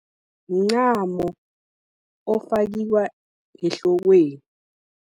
Mncamo, ofakiwa ngehlokweni.